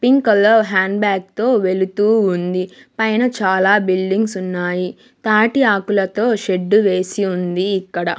Pink colour hand bag తో వెళుతూ ఉంది పైన చాలా బిల్డింగ్స్ ఉన్నాయి తాటి ఆకులతో షెడ్డు వేసి ఉంది ఇక్కడ.